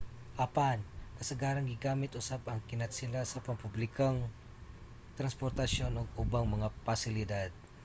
apan kasagarang gigamit usab ang kinatsila sa pampublikong transportasyon ug ubang mga pasilidad